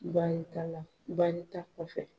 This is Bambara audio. Baarita la baarita kɔfɛ.